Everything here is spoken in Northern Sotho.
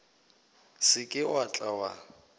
se ke wa tla wa